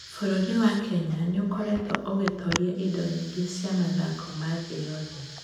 Bũrũri wa Kenya nĩ ũkoretwo ũgĩtooria indo nyingĩ cia mathako ma thĩ yothe.